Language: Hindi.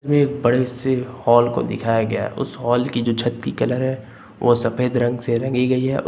वे बड़े से हॉल को दिखाया गया है उस हॉल की जो छत की कलर है वो सफेद रंग से रंगी गई है और --